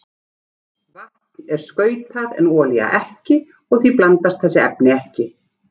Vatn er skautað en olía ekki og því blandast þessi efni ekki.